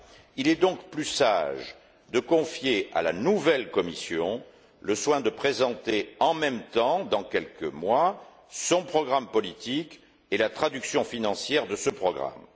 Il est donc plus sage de confier à la nouvelle Commission le soin de présenter en même temps, dans quelques mois, son programme politique et la traduction financière de ce programme.